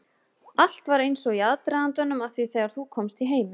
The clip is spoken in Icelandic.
Allt var eins og í aðdragandanum að því þegar þú komst í heiminn.